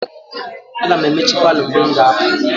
Aga m emechi palọ mgbe m ga-apụ.